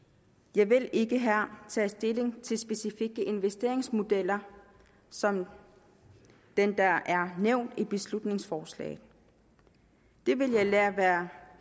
jeg vil ikke her tage stilling til specifikke investeringsmodeller som den der er nævnt i beslutningsforslaget det vil jeg lade være